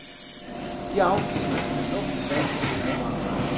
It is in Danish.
De afgives til luft, vand og madvarer.